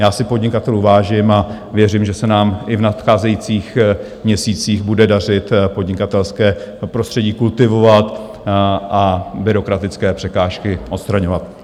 Já si podnikatelů vážím a věřím, že se nám i v nadcházejících měsících bude dařit podnikatelské prostředí kultivovat a byrokratické překážky odstraňovat.